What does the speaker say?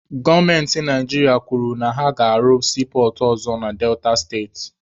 Gọọmenti Naijiria kwuru na ha ga-arụ siipọọtụ ọzọ na Delta steeti.